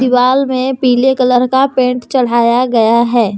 दीवाल में पीले कलर का पेंट चढ़ाया गया है।